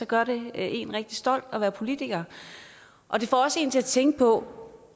gør det en rigtig stolt af at være politiker og det får også en til at tænke på